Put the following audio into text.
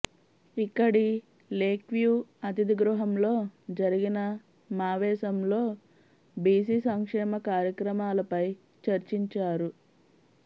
ఇక్కడి లేక్వ్యూ అతిథిగృహంలో జరిగిన మావేశంలో బిసి సంక్షేమ కార్యక్రమాలపై చర్చించారు